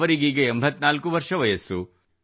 ಅವರಿಗೆ 84 ವರ್ಷ ವಯಸ್ಸು